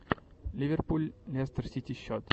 ливерпуль лестер сити счет